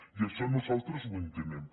i això nosaltres ho entenem